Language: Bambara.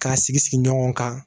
K'a sigi sigi ɲɔgɔn kan